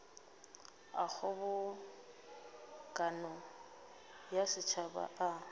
a kgobokano ya setšhaba a